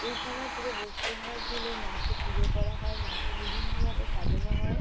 এই সময় পুরো ওয়েস্ট বেঙ্গল জুলে মাকে পূজো করা হয়। মাকে বিভিন্ন ভাবে সাজানো হয়।